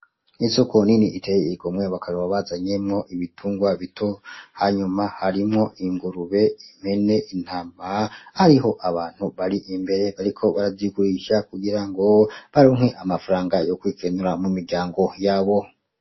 Isoko rinini iteye igomwe bakaba bazanyemwo ibitungwa bito hanyuma harimwo ingurube, impene, intama hariho abantu bari imbere bariko barazigurisha kugirango baronke amafaranga yokwikenura muryango yabo.